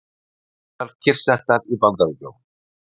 Flugvélar kyrrsettar í Bandaríkjunum